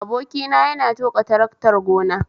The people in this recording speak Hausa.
Abokina yana tuƙa taraktar gona